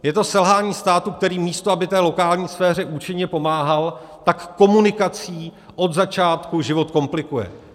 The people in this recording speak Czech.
Je to selhání státu, který místo aby té lokální sféře účinně pomáhal, tak komunikací od začátku život komplikuje.